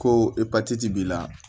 Ko epatiti b'i la